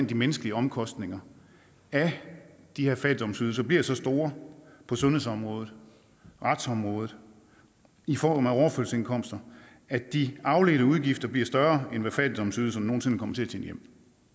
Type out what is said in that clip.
de menneskelige omkostninger af de her fattigdomsydelser bliver så store på sundhedsområdet retsområdet i form af overførselsindkomster at de afledte udgifter bliver større end hvad fattigdomsydelserne nogen sinde kommer til at tjene hjem